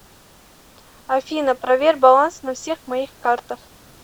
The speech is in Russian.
афина проверь баланс на всех моих картах